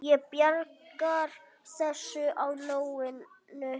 Ég bjargar þessu á nóinu.